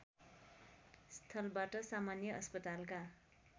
स्थलबाट सामान्य अस्पतालका